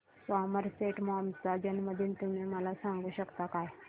Somerset Maugham चा जन्मदिन तुम्ही मला सांगू शकता काय